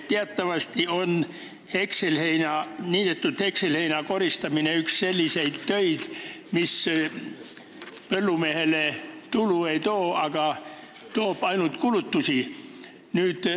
Teatavasti on niidetud hekselheina koristamine üks selliseid töid, mis põllumehele tulu ei too, toob ainult kulutusi.